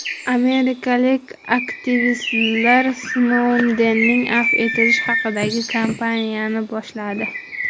Amerikalik aktivistlar Snoudenni afv etish haqidagi kampaniyani boshladi.